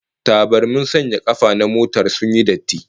Tabarmin sanya kafa na motar sun yi datti